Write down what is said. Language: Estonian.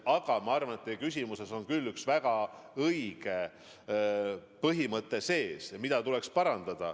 Samas ma arvan, et teie küsimuses oli üks väga õige põhimõte.